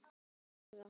Þór, Sara, Hera.